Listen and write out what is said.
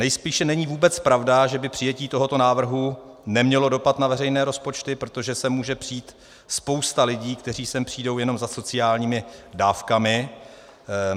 Nejspíše není vůbec pravda, že by přijetí tohoto návrhu nemělo dopad na veřejné rozpočty, protože sem může přijít spousta lidí, kteří sem přijdou jenom za sociálními dávkami.